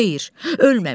Xeyr, ölməmişəm.